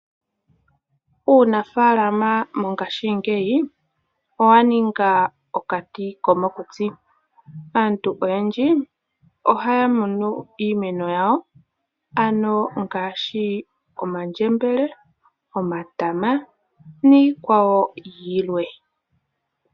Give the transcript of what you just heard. Uunafaalama mongashingeyi owa ninga okatikomokuti. Aantu oyendji ohaya kunu iimeno yawo ngaashi omandjembele, omatama niikwawo yilwe.